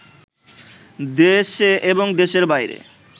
দেশে এবং দেশের বাইরে